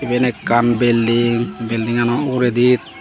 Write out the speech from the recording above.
iben ekkan belding beldingano uguredi.